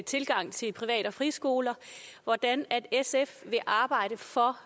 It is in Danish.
tilgang til privat og friskoler vil arbejde for